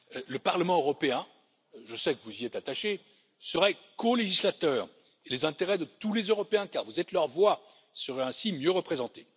Le Parlement européen je sais que vous y êtes attachés serait colégislateur des intérêts de tous les Européens car vous êtes leur voix, et ils seraient ainsi mieux représentés.